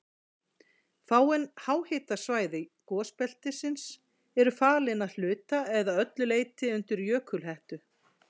Fáein háhitasvæði gosbeltisins eru falin að hluta eða öllu leyti undir jökulhettu.